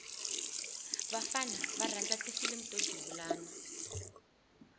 vafana va rhandza ti filimu o duvulana